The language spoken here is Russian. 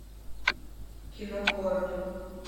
кино хоррор